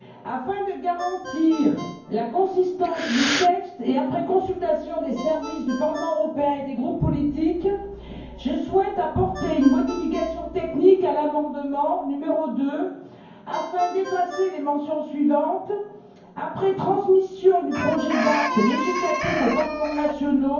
Afin de garantir la consistance du texte et après consultation des services du Parlement européen et des groupes politiques, je souhaite apporter une modification technique à l'amendement n° 2 afin d'effacer les mentions suivantes après transmission du projet d'acte législatif aux parlements nationaux